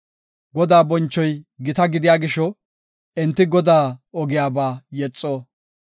Godaa bonchoy gita gidiya gisho, enti Godaa ogiyaba yexo.